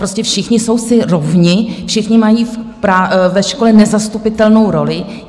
Prostě všichni jsou si rovni, všichni mají ve škole nezastupitelnou roli.